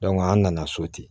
an nana so ten